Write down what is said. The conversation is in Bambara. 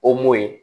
ye